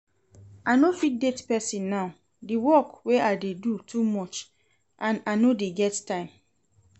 I no fit date person now, the work wey I dey do too much and I no dey get time